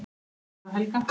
Davíð og Helga.